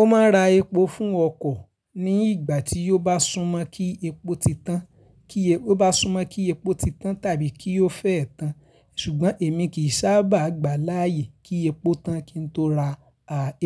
Ó máa ń ra epo fún ọkọ̀ ní ìgbà tí ó bá súnmọ́ kí epo ti tán tàbí kí ó fẹ́ tán. Ṣùgbọ́n èmi kì í sábà gbà láyè kí epo tán kí n tó ra